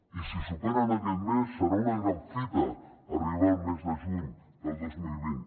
i si superen aquest mes serà una gran fita arribar al mes de juny del dos mil vint